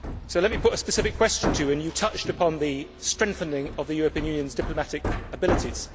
So let me put a specific question to you, as you touched upon the strengthening of the European Union's diplomatic abilities.